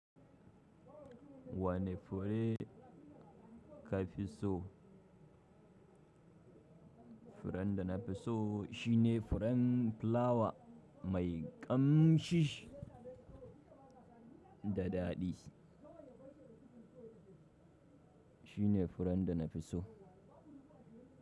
Wane fure ka fi so? Furen da na fi so shine furen plawa mai ƙamshi da daɗi. Shine furen da na fi so.